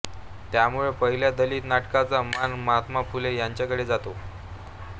त्यामुळे पाहिल्या दलित नाटकाचा मान महात्मा फुले यांच्याकडे जातो